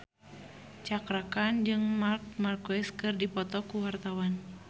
Cakra Khan jeung Marc Marquez keur dipoto ku wartawan